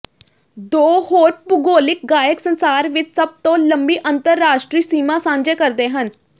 ਦੋ ਹੋਰ ਭੂਗੋਲਿਕ ਗਾਇਕ ਸੰਸਾਰ ਵਿਚ ਸਭ ਤੋਂ ਲੰਮੀ ਅੰਤਰਰਾਸ਼ਟਰੀ ਸੀਮਾ ਸਾਂਝੇ ਕਰਦੇ ਹਨ